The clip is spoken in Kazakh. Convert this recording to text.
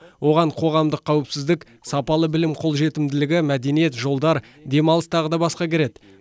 оған қоғамдық қауіпсіздік сапалы білім қолжетімділігі мәдениет жолдар демалыс тағы да басқа кіреді